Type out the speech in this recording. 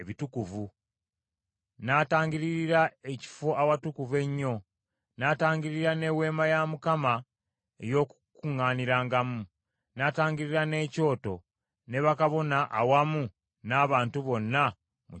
n’atangiririra Ekifo Awatukuvu Ennyo, n’atangiririra n’Eweema ey’Okukuŋŋaanirangamu, n’atangiririra n’ekyoto, ne bakabona awamu n’abantu bonna mu kibiina kyonna.